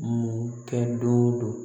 Mun kɛ don o don